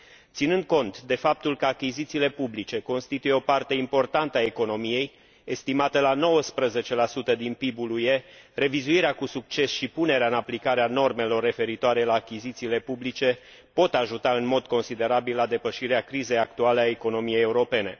Ținând cont de faptul că achizițiile publice constituie o parte importantă a economiei, estimată la 19 din PIB ul UE, revizuirea cu succes și punerea în aplicare a normelor referitoare la achizițiile publice pot ajuta în mod considerabil la depășirea crizei actuale a economiei europene.